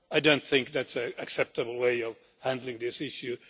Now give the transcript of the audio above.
I do not think that is an acceptable way of handling this issue.